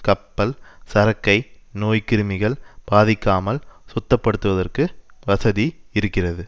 கப்பல் சரக்கை நோய்க்கிருமிகள் பாதிக்காமல் சுத்தப்படுத்துவதற்கு வசதி இருக்கிறது